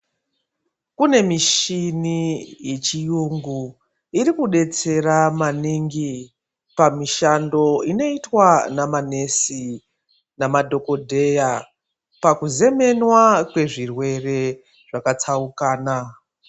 Kune michini yechiyungu irikudetsera maningi pamishando inoitwa namanesi namadhokodheya pakuzemenwa kwezvirwere zvakatsaukana.